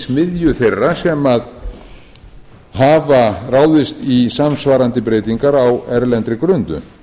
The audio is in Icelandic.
smiðju þeirra sem hafa ráðist í samsvarandi breytingar á erlendri grundu